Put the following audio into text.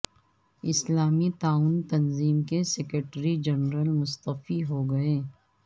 اسلامی تعاون تنظیم کے سیکریٹری جنرل مستعفی ہو گئے